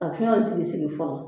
A fɛnw sigi sigi fɔlɔ